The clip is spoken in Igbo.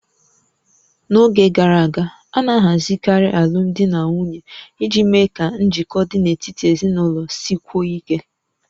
N'oge gara aga, a na-ahazikarị alụmdi na nwunye iji mee ka njikọ dị n'etiti ezinụlọ sikwuo ike